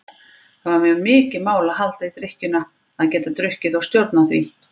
Það var mér mikið mál að halda í drykkjuna, að geta drukkið og stjórnað því.